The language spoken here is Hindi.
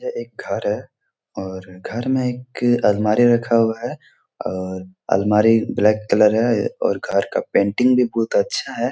यह एक घर है और घर में एक अलमारी रखा हुआ है और अलमारी ब्लैक कलर है और घर का पेंटिंग भी बहुत अच्छा है।